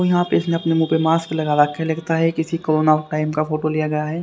यहां पे इसने अपने मुंह पे मास्क लगा रखा है लगता है किसी कोरोना टाइम का फोटो लिया गया है।